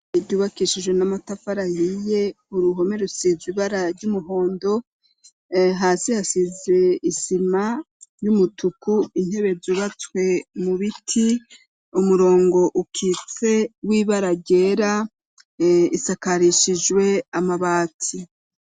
Ishure ryubakishijwe n'amatafari yiye uruhome rusiz ibara ry'umuhondo hasi hasize isima y'umutuku intebe zubatswe mu biti umurongo ukitse w'ibaragera isakarishijwe amabati.